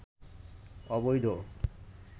অবৈধ